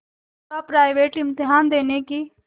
का प्राइवेट इम्तहान देने की